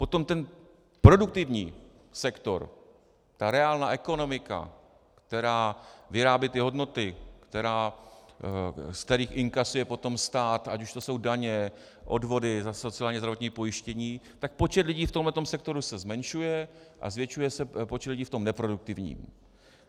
Potom ten produktivní sektor, ta reálná ekonomika, která vyrábí ty hodnoty, ze kterých inkasuje potom stát, ať už to jsou daně, odvody za sociální a zdravotní pojištění, tak počet lidí v tomto sektoru se zmenšuje a zvětšuje se počet lidí v tom neproduktivním.